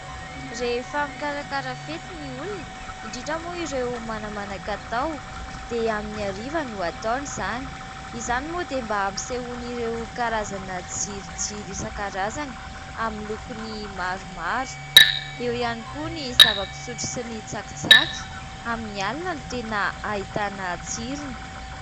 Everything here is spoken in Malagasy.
Rehefa mikarakara fety ny olona, indrindra moa ireo manamanan-katao, dia amin'ny ariva no ataony izany. Izany moa dia mba hampisehoany ireo karazana jiro jiro isakarazany amin'ny lokony maromaro. Eo ihany koa ny zava-pisotro sy ny tsakitsaky; amin'ny alina no tena ahitana tsirony.